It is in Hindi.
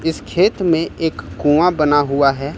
इस खेत में एक कुआं बना हुआ है।